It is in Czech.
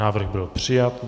Návrh byl přijat.